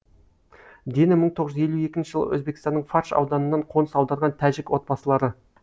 дені мың тоғыз жүз елу екінші жылы өзбекстанның фарш ауданынан қоныс аударған тәжік отбасылары